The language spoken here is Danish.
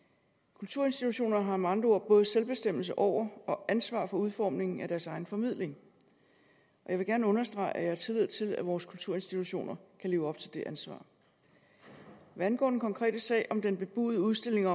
kulturinstitutioner har med andre ord både selvbestemmelse over og ansvar for udformningen af deres egen formidling jeg vil gerne understrege at jeg har tillid til at vores kulturinstitutioner kan leve op til det ansvar hvad angår den konkrete sag om den bebudede udstilling